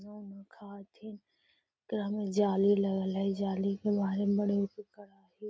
मोमो खाइत हई एकरा मे जाली लगल हई जाली के वेहि --